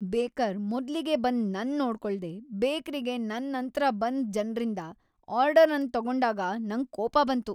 Baker ಮೊದ್ಲಿಗೆ ಬಂದ ನನ್ ನೋಡ್ಕೊಳ್ದೆ ಬೇಕ್ರಿಗೆ ನನ್ ನಂತ್ರ ಬಂದ್ ಜನ್ರಿಂದ ಆರ್ಡರ್ ಅನ್ ತಗೊಂಡಾಗ ನಂಗ್ ಕೋಪ ಬಂತು.